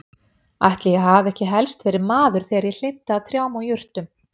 Ætli ég hafi ekki helst verið maður þegar ég hlynnti að trjám og jurtum.